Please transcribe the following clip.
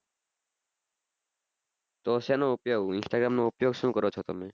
તો શેનો instagram નો ઉપયોગ શું કરો છો તમે